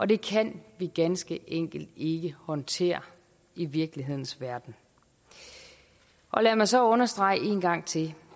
det kan vi ganske enkelt ikke håndtere i virkelighedens verden lad mig så understrege en gang til